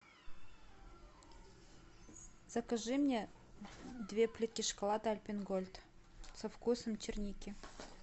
закажи мне две плитки шоколада альпен гольд со вкусом черники